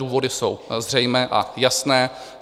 Důvody jsou zřejmé a jasné.